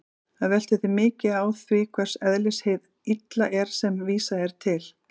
Það veltur því mikið á því hvers eðlis hið illa er sem vísað er til.